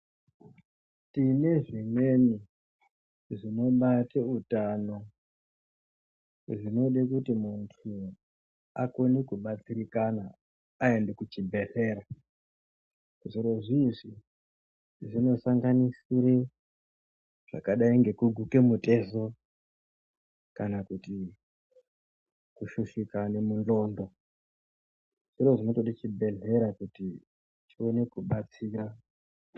Tine zvimweni zvinobate utano zvinode kuti muntu akone kubatsirikana kana aende kuchibhedhlera zvirozvi izvi zvinosanganisira zvakadai ngekuguke mutezo kana kuti kushushikane mundxondo zviri zvinotode chibhedhlera kuti chione kubatsira.